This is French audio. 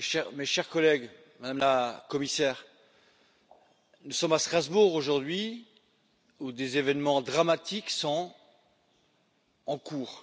Mes chers collègues, Madame la Commissaire, nous sommes à Strasbourg aujourd'hui, où des événements dramatiques sont en cours.